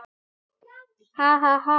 Hann: Ha ha ha.